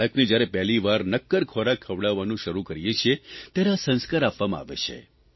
બાળકને જ્યારે પહેલીવાર નક્કર ખોરાક ખવડાવવાનું શરૂ કરીએ છીએ ત્યારે આ સંસ્કાર કરવામાં આવે છે